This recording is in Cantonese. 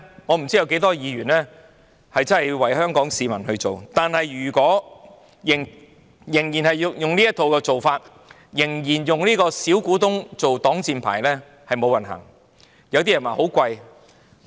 我不知道有多少議員願意為香港市民釜底抽薪，但如果仍然以現行的做法，仍然以小股東作擋箭牌，香港將會走歹運。